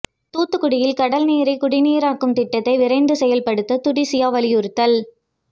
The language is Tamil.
தூத்துக்குடியில் கடல் நீரை குடிநீராக்கும் திட்டத்தை விரைந்து செயல்படுத்த துடிசியா வலியுறுத்தல்